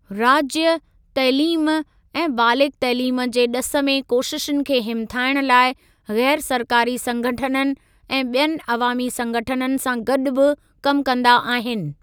राज्य, तइलीम ऐं बालिग़ तइलीम जे ॾिस में कोशिशुनि खे हिमथाइण लाइ ग़ैरु सरकारी संगठननि ऐं ॿियनि अवामी संगठननि सां गॾु बि कमु कंदा आहिनि।